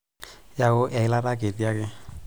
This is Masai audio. Yau eilata kiti ake.